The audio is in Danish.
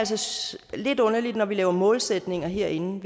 lidt underligt når vi laver målsætninger herinde